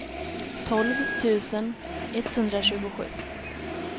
tolv tusen etthundratjugosju